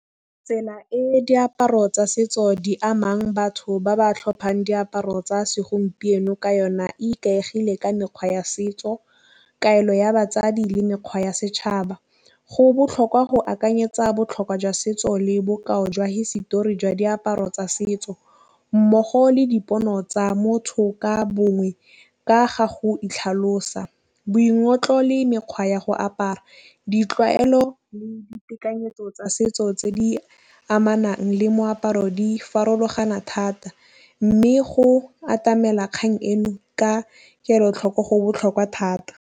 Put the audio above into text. Tsela e diaparo tsa setso di amang batho ba ba tlhophang diaparo tsa segompieno ka yona e ikaegile ka mekgwa ya setso. Kaelo ya batsadi le mekgwa ya setšhaba go botlhokwa go akanyetsa botlhokwa jwa setso le bokao jwa hisetori jwa diaparo tsa setso mmogo le dipono tsa motho ka bongwe ka ga go itlhalosa. Boingotlo le mekgwa ya go apara ditlwaelo le ditekanyetso tsa setso tse di amanang le moaparo di farologana thata, mme go atamela kgang eno ka kelotlhoko go botlhokwa thata.